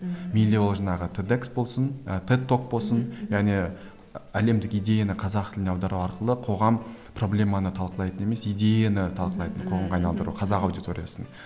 мейлі ол жаңағы тедекс болсын ы теддок болсын және әлемдік идеяны қазақ тіліне аудару арқылы қоғам проблеманы талқылайтын емес идеяны талқылайтын қоғамға айналдыру қазақ аудиториясын